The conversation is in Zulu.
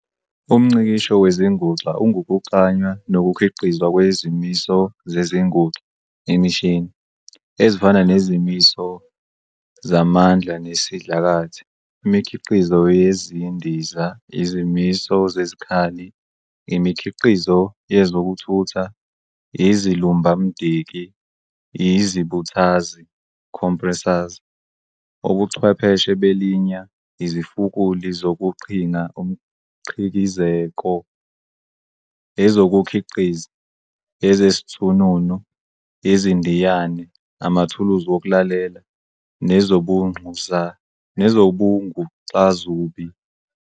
UmNgcikisho wezinguxa ungukuklanywa nokukhiqizwa kwezimiso zezinguxa, "imishini", ezifana nezimiso zamandla nesidlakathi, imikhiqizo yezindiza, izimiso zezikhali, imikhiqizo yezokuthutha, izilumbamdiki, izibuthazi, "compressors". Ubuchwepheshe belinya, izifukuli zokuqhinga umqhikizeko, ezokukhiqiza, ezezithununu, izindiyane, amathuluzi wokulalela, nezobuNguxazubi.